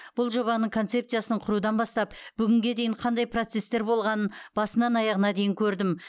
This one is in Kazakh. бұл жобаның концепциясын құрудан бастап бүгінге дейін қандай процестер болғанын басынан аяғына дейін көрдім